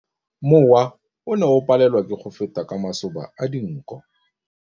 Mowa o ne o palelwa ke go feta ka masoba a dinko.